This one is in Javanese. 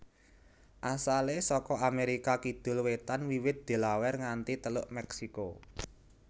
Asalé saka Amérika kidul wétan wiwit Delaware nganti Teluk Meksiko